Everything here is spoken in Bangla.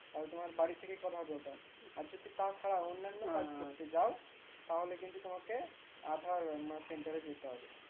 আমি তোমার বাড়ি থেকে কথা ধরে লাও আর যদি তা ছাড়াও অন্নান্য কাজ করতে যাও তাহলে কিন্তু তোমাকে আধার মানে center এ যেতে হবে